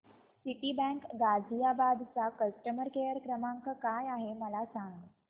Citibank Ghaziabad चा customer care क्रमांक काय आहे मला सांग